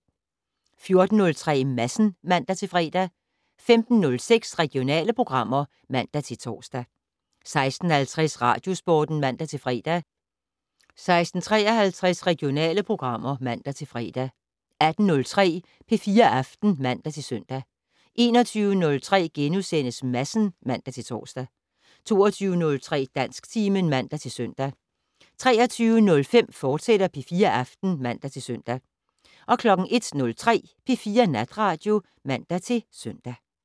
14:03: Madsen (man-fre) 15:06: Regionale programmer (man-tor) 16:50: Radiosporten (man-fre) 16:53: Regionale programmer (man-fre) 18:03: P4 Aften (man-søn) 21:03: Madsen *(man-tor) 22:03: Dansktimen (man-søn) 23:05: P4 Aften, fortsat (man-søn) 01:03: P4 Natradio (man-søn)